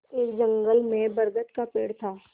एक जंगल में बरगद का पेड़ था